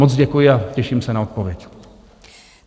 Moc děkuji a těším se na odpověď.